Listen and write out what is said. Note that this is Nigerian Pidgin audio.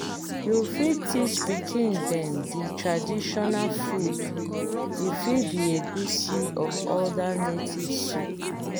you fit teach pikin dem the traditional food e fit be egusi or oda native soup